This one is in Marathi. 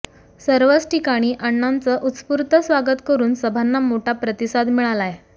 सर्वच ठिकाणी अण्णांचं उत्स्फूर्त स्वागत करुन सभांना मोठा प्रतिसाद मिळालाय